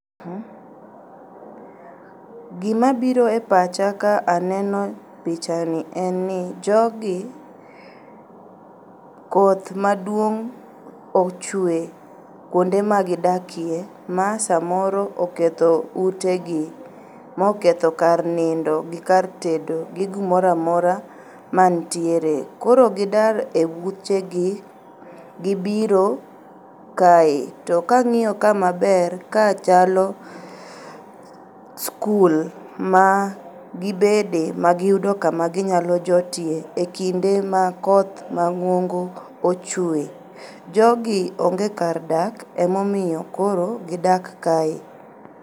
Gima biro e pacha ka aneno pichani, en ni jogi, koth maduong' ochwe kuonde ma gidakie, ma samoro oketho utegi. Ma oketho kar nindo, gi kar tedo gi gimoro amora mantiere. Koro gidar e utegi, gibiro kae. To ka ang'iyo ka maber, ka chalo skul, ma gibede, ma giyudo kama ginyalo jotie, e kinde ma koth mang'ongo ochwe. Jogi onge kar dak, ema omiyo koro gidak kae.